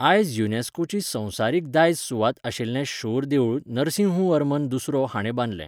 आयज युनेस्कोची संवसारीक दायज सुवात आशिल्लें शोर देऊळ नरसिंहवर्मन दुसरो हाणे बांदलें.